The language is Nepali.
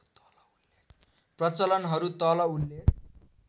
प्रचलनहरू तल उल्लेख